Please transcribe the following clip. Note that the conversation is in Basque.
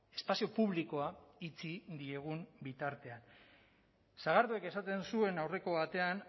espazio publikoa itxi diegun bitartean sagarduik esaten zuen aurreko batean